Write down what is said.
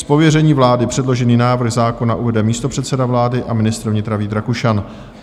Z pověření vlády předložený návrh zákona uvede místopředseda vlády a ministr vnitra Vít Rakušan.